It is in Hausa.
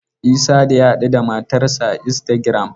Isah da ya haɗuda matar sa a Instagram.